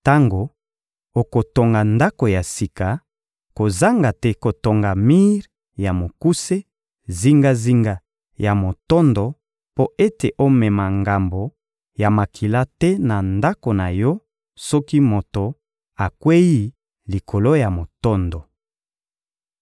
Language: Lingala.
Tango okotonga ndako ya sika, kozanga te kotonga mir ya mokuse zingazinga ya motondo mpo ete omema ngambo ya makila te na ndako na yo soki moto akweyi likolo ya motondo.